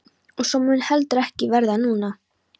Og svo mun heldur ekki verða núna!